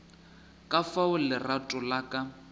ka fao lerato la ka